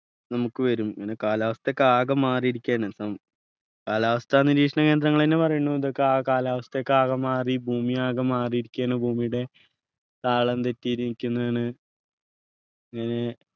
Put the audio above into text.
നമുക്ക് വരും അങ്ങനെ കാലാവസ്ഥയൊക്കെ ആകെ മാറിയിരിക്കയാണ് സം കാലാവസ്ഥ നിരീക്ഷണകേന്ദ്രങ്ങളെന്നെ പറയുണു ഇതൊക്കെ ആകെ കാലാവസ്ഥ ആകെ മാറി ഭൂമി ആകെ മാറിയിരിക്കയാണ് ഭൂമിയുടെ താളം തെറ്റിയിരിക്കുന്നാണ് ഏർ